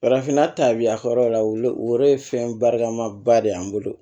Farafinna ta bi a ka yɔrɔ la o yɛrɛ ye fɛn barikamaba de ye an bolo